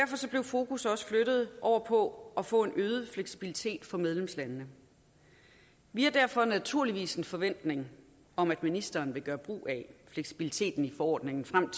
blev fokus også flyttet over på at få en øget fleksibilitet for medlemslandene vi har derfor naturligvis en forventning om at ministeren vil gøre brug af fleksibiliteten i forordningen frem